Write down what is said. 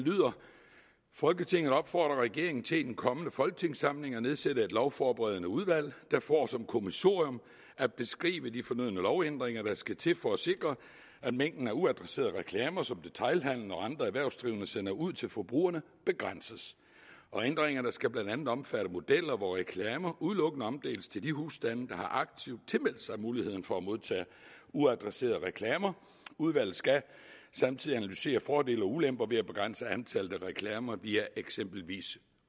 folketinget opfordrer regeringen til i den kommende folketingssamling at nedsætte et lovforberedende udvalg der får som kommissorium at beskrive de fornødne lovændringer der skal til for at sikre at mængden af uadresserede reklamer som detailhandelen og andre erhvervsdrivende sender ud til forbrugerne begrænses ændringerne skal blandt andet omfatte modeller hvor reklamer udelukkende omdeles til de husstande der aktivt har tilmeldt sig muligheden for at modtage uadresserede reklamer udvalget skal samtidig analysere fordele og ulemper ved at begrænse antallet af reklamer via eksempelvis